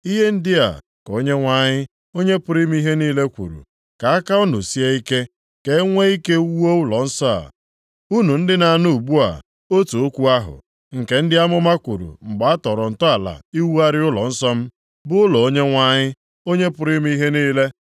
Ihe ndị a ka Onyenwe anyị, Onye pụrụ ime ihe niile kwuru: “Ka aka unu sie ike, + 8:9 O nwekwara ike ị bụ, ka obi sie unu ike ka enwe ike wuo ụlọnsọ a, unu ndị na-anụ ugbu a otu okwu ahụ, nke ndị amụma kwuru mgbe a tọrọ ntọala iwugharị ụlọnsọ m, bụ ụlọ Onyenwe anyị, Onye pụrụ ime ihe niile.